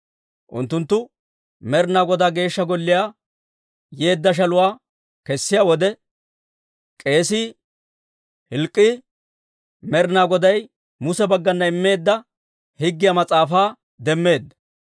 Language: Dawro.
Unttunttu Med'inaa Godaa Geeshsha Golliyaa yeedda shaluwaa kessiyaa wode, k'eesii Hilk'k'ii Med'inaa Goday Muse baggana immeedda Higgiyaa Mas'aafaa demmeedda.